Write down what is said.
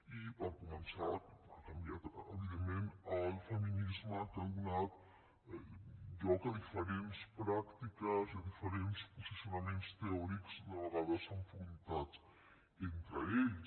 i per començar ha canviat evidentment el feminisme que ha donat lloc a diferents pràctiques i a diferents posicionaments teòrics de vegades enfrontats entre aquests